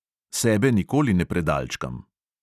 Sebe nikoli ne predalčkam.